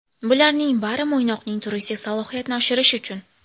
Bularning bari Mo‘ynoqning turistik salohiyatini oshirish uchun!